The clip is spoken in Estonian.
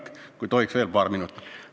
Kas tohiks saada veel paar minutit?